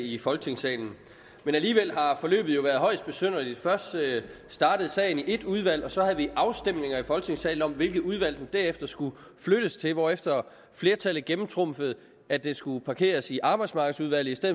i folketingssalen men alligevel har forløbet været højst besynderligt først startede sagen i et udvalg og så havde vi afstemninger i folketingssalen om hvilke udvalg derefter skulle flyttes til hvorefter flertallet gennemtrumfede at den skulle parkeres i arbejdsmarkedsudvalget